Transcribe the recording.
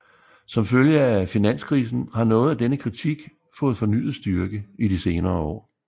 Som følge af finanskrisen har noget af denne kritik fået fornyet styrke i de senere år